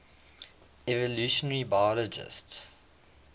evolutionary biologists